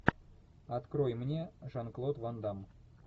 открой мне жан клод ван дамм